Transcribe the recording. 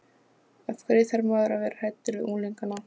Af hverju þarf maður að vera hræddur við unglingana?